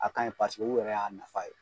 A kaɲi paseke u yɛrɛ y'a nafa ye